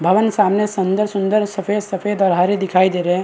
भवन सामने सुन्दर-सुन्दर सफ़ेद-सफ़ेद और हरे दिखाई दे रहे है।